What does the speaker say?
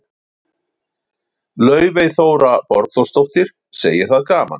Laufey Þóra Borgþórsdóttir, segir það gaman.